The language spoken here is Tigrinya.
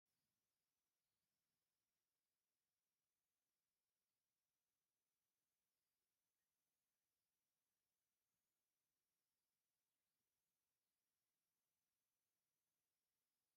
ከምዚኦም ዝበሉ ናይ ህፃውንቲ ምግብታት ኣብዚ ሕዚ እዋን ብመጠንን ብዓይነትን ብጣዕሚ ብዙሓት እዮም። እዞም ናይ ህፃውንቲ ምግብታት ነቶም ህፃውንቲ ዕብየት ጠቀምቲ እዮም ተባሂሎም ይንገሩ።